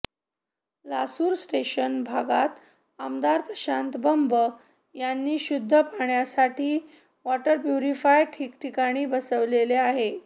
Lasur station भागात आमदार प्रशांत बंब यांनी शुद्ध पाण्यासाठी वॉटर प्युरिफायर ठिकठिकाणी बसविले आहे